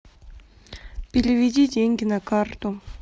переведи деньги на карту